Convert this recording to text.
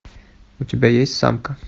у тебя есть самка